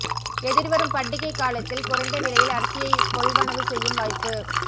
எதிர்வரும் பண்டிகைக் காலத்தில் குறைந்த விலையில் அரிசியை கொள்வனவு செய்யும் வாய்ப்பு